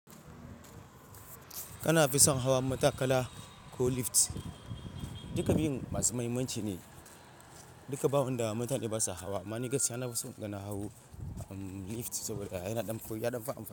Kana fi son hawa matakala ko lift? Duka biyun masu muhimmanci ne. Duka ba wanda mutane basa hawa. Amma ni gaskiya na fi son kana hawa lift saboda yana ɗan koyi, yana fa.